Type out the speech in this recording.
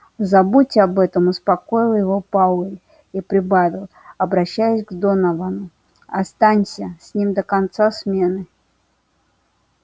забудь об этом успокоил его пауэлл и прибавил обращаясь к доновану останься с ним до конца смены